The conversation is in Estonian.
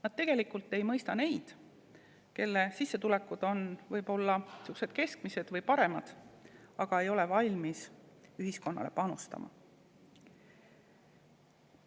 Nad tegelikult ei mõista neid, kelle sissetulekud on võib-olla keskmised või paremad, aga kes ei ole valmis ühiskonda panustama.